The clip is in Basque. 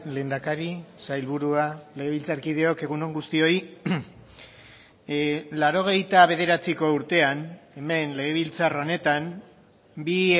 lehendakari sailburua legebiltzarkideok egun on guztioi laurogeita bederatziko urtean hemen legebiltzar honetan bi